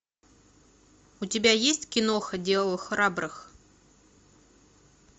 у тебя есть киноха дело храбрых